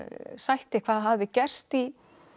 sætti hvað hafði gerst í